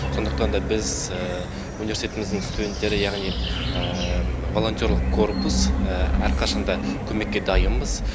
сондықтар да біз университетіміздің студенттері яғни волонтерлық корпус әрқашан да көмекке дайынбыз